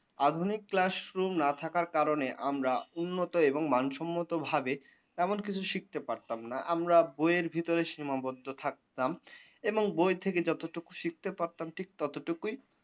আধুনিক classroom না থাকার কারণে আমরা উন্নত এবং মানসম্মত ভাবে এমন কিছু শিখতে পারতামনা। আমরা বইয়ের ভিতরে সীমাবদ্ধ থাকতাম এবং বই থেকে যতটুকু শিখতে পারতাম ঠিক ততটুকুই